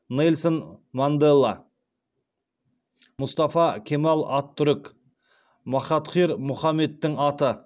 нельсон мандела мұстафа кемал аттүрік махатхир мұхаммедтің аты